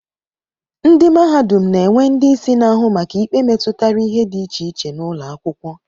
Ndị mahadum na-enwe ndị isi na-ahụ maka ikpe metụtara ihe dị iche iche n'ụlọakwụkwọ